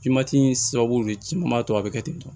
sababu de ci maa to a be kɛ ten tɔ